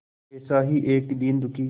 ऐसा ही एक दीन दुखी